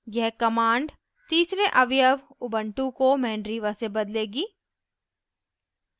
यह command तीसरे अवयव ubuntu को mandriva से बदलेगी